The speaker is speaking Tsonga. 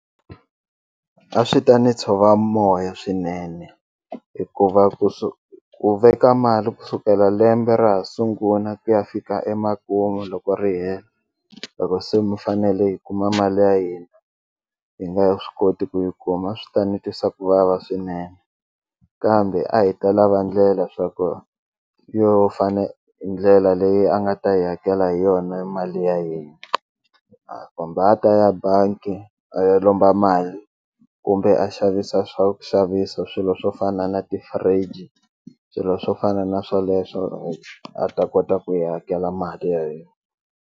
A swi ta ni tshova moya swinene hikuva ku veka mali kusukela lembe ra ha sungula ku ya fika emakumu loko ri hela loko se mi fanele hi kuma mali ya hina hi nga swi koti ku yi kuma swi ta ni twisa ku vava swinene kambe a hi ta lava ndlela swa ku yo fane hi ndlela leyi a nga ta yi hakela hi yona mali ya hina kumbe a ta ya bangi a ya lomba mali kumbe a xavisa swa ku xavisa swilo swo fana na ti-fridge swilo swo fana na swoleswo a ta kota ku hi hakela mali hina.